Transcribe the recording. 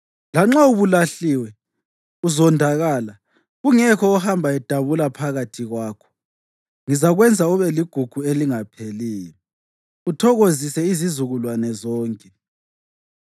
Lanxa ubulahliwe, uzondakala, kungekho ohamba edabula phakathi kwakho, ngizakwenza ube ligugu elingapheliyo, uthokozise izizukulwane zonke.